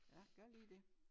Ja gør lige det